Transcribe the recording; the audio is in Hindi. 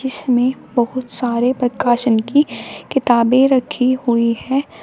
इसमें बहुत सारे प्रकासन की किताबें रखी हुई है।